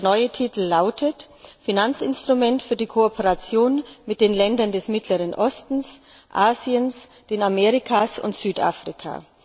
Der neue Titel lautet Finanzinstrument für die Kooperation mit den Ländern des Mittleren Ostens, Asiens, den Amerikas und Südafrika.